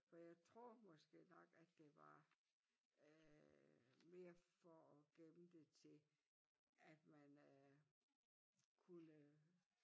For jeg troede måske nok at det var øh mere for at gemme det til at man øh kunne